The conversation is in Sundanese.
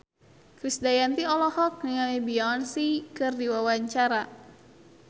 Krisdayanti olohok ningali Beyonce keur diwawancara